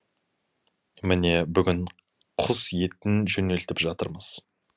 міне бүгін құс етін жөнелтіп жатырмыз